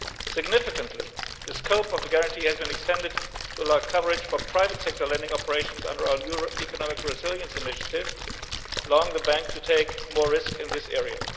Significantly, the scope of the guarantee has been extended to allow coverage for private sector lending operations under our new Economic Resilience Initiative, allowing the bank to take more risk in this area.